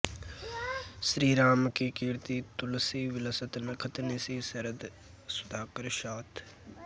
श्रीरामकी कीर्ति तुलसी बिलसत नखत निसि सरद सुधाकर साथ